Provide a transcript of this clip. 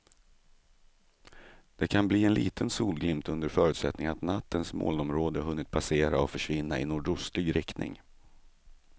Det kan bli en liten solglimt under förutsättning att nattens molnområde hunnit passera och försvinna i nordostlig riktning.